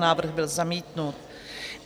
Návrh byl zamítnut.